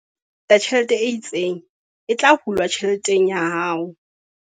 Hangata ho teng tjhelete e itseng e tla hulwa tjheleteng ya hao.